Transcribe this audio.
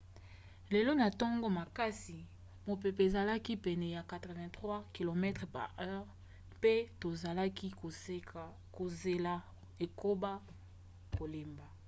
lelo na ntongo makasi mopepe ezalaki pene ya 83 km/h mpe tozalaki kozela ekoba kolemba